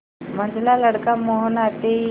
मंझला लड़का मोहन आते ही